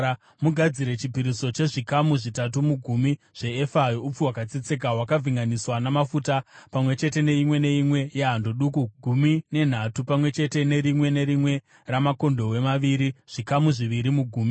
Mugadzire chipiriso chezvikamu zvitatu mugumi zveefa youpfu hwakatsetseka, hwakavhenganiswa namafuta pamwe chete neimwe neimwe yehando duku gumi nenhatu; pamwe chete nerimwe nerimwe ramakondobwe maviri, zvikamu zviviri mugumi,